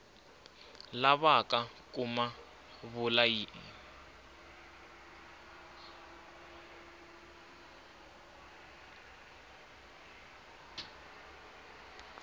lavaka ku ma vula ya